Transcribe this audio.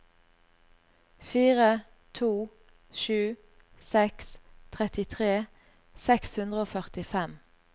fire to sju seks trettitre seks hundre og førtifem